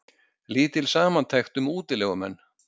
Lítil samantekt um útilegumenn